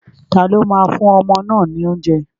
Taló máa fún ọmọ náà ní oúnjẹ?